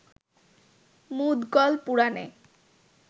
মুদগল পুরাণে